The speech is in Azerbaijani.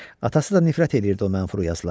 Atası da nifrət eləyirdi o mənfur yazılara.